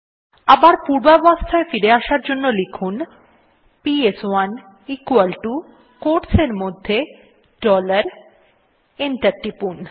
আবার পূর্বাবস্থায় আবার ফিরে আসার জন্য লিখুন পিএস1 equal টো কোয়োটস এর মধ্যে ডলার এবং এন্টার টিপুন